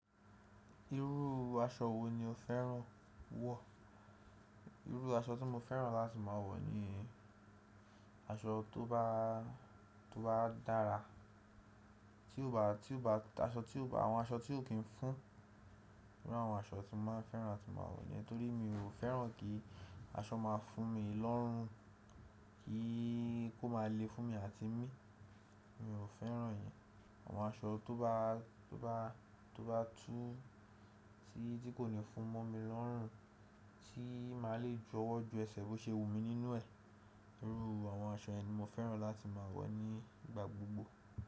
Irú aṣọ wo ni o fẹ́ràn wọ̀? Irú aṣọ tí mo fẹ́ràn láti máa wọ̀ ni aṣọ tó bá, tó bá dára, tí ó bá, tí ó bá, aṣọ tí ó bá, àwọn aṣọ tí ò kí n fún, bí i àwọn aṣọ tí mo máa fẹ́ràn tí máa wọ̀ ni nítorí mi ò fẹ́ràn kí aṣọ máa fún mi lọ́rùn, kí kó máa le fún mi àti mi, mi ò fẹ́ràn ìyẹn. Àwọn aṣọ tó bá, tó bá, tó bá tú tí kò ní fún mọ́ mi lọ́rùn, tí màá le ju ọwọ́ ju ẹsẹ̀ bó ṣe wù mí nínú ẹ̀, irú àwọn aṣọ ẹ̀ ni mo fẹ́ràn láti máa wọ̀ nígbà gbogbo.